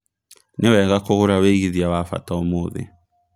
nĩ wega kũgũra wĩigĩthĩa wa bata ũmũthi